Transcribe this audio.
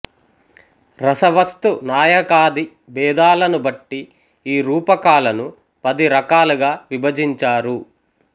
రస వస్తు నాయకాది భేదాలను బట్టి ఈ రూపకాలను పది రకాలుగా విభజించారు